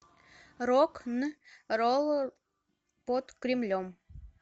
рок н ролл под кремлем